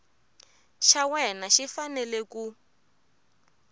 xa wena xi fanele ku